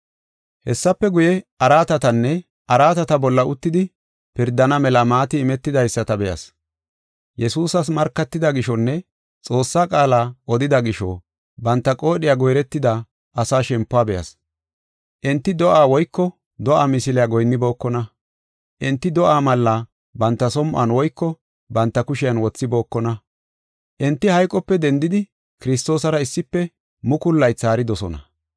Hessafe guye, araatatanne araatata bolla uttidi pirdana mela maati imetidaysata be7as. Yesuusas markatida gishonne Xoossaa qaala odida gisho banta qoodhiya goyretida asaa shempuwa be7as. Enti do7aa woyko do7aa misiliya goyinnibookona. Enti do7aa malla banta som7on woyko banta kushen wothibookona. Enti hayqope dendidi Kiristoosara issife mukulu laythi haaridosona.